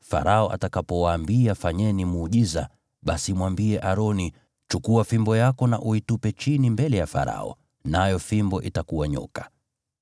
“Farao atakapowaambia, ‘Fanyeni muujiza,’ basi mwambie Aroni, ‘Chukua fimbo yako na uitupe chini mbele ya Farao,’ nayo fimbo itakuwa nyoka.”